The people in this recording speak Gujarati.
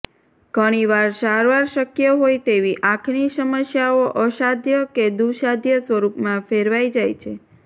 ઘણીવાર સારવાર શકય હોય તેવી આંખની સમસ્યાઓ અસાધ્ય કે દુઃસાધ્ય સ્વરૂપમાં ફેરવાઇ જાય છે